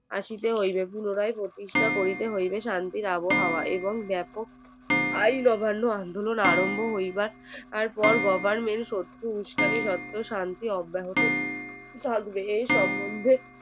আসতে হইবে পুনরায় প্রতিষ্ঠা করিতে হইবে শান্তির আবহাওয়া এবং বেপক আইন অমান্য আন্দোলন আরম্ভ হইবার পর Government উস্কানির সত্য শান্তির অব্যাহত থাকবে এ সমন্ধে